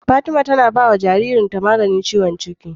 Fatima tAna bawa jaririn ta maganin ciwon ciki